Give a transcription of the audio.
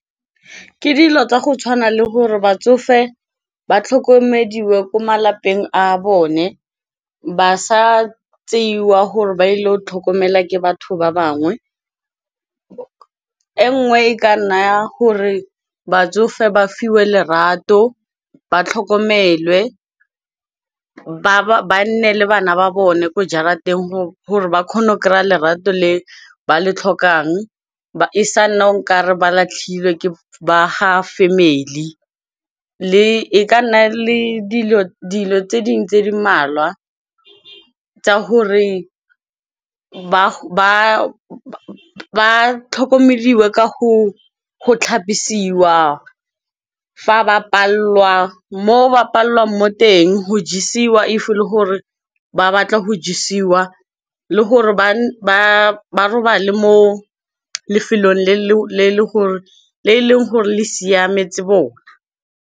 Ke dilo tsa go tshwana le gore batsofe ba tlhokomediwe ko malapeng a bone. Ba sa tseiwa gore ba ile tlhokomelwa ke batho ba bangwe. E nngwe e ka nna gore batsofe ba fiwe lerato ba tlhokomelwe ba nne le bana ba bone, ko jarateng gore ba kgone go kry a lerato le ba le tlhokang e sa nna okare ba latlhilwe ke ba ga family. E ka nna le dilo tse dingwe tse di mmalwa tsa gore ba tlhokomediwe ka go tlhapisiwa, fa ba palelwa moo ba palelwang mo teng, go jesiwa if e le gore ba batla go jesiwa. Le gore ba robale mo lefelong le e leng gore le siametse bona.